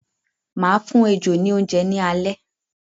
Máa fún ejò ni oúnjẹ ní alẹ́